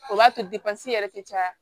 O b'a to yɛrɛ tɛ caya